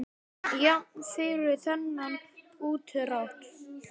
Jafnan fyrir þennan útdrátt er